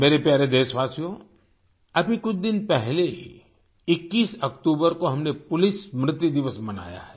मेरे प्यारे देशवासियो अभी कुछ दिन पहले ही 21 अक्टूबर को हमने पुलिस स्मृति दिवस मनाया है